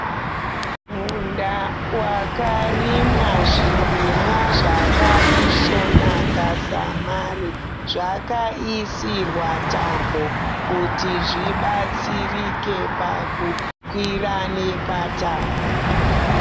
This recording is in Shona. Munda wakarimwa zvirimwa zvakaisvonaka samare. Zvakaisirwa tambo kuti zvibatsirike pakukwira nepatambo.